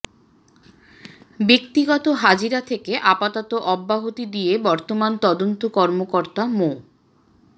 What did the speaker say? ব্যক্তিগত হাজিরা থেকে আপাতত অব্যাহতি দিয়ে বর্তমান তদন্ত কর্মকর্তা মো